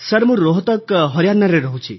sir ମୁଁ ରୋହତକ ହରିୟାଣାରେ ରହୁଛି